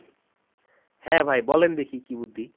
হ্যাঁ ভাই বলেন দেখি কী বুদ্ধি